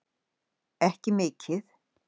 Ekki mikið.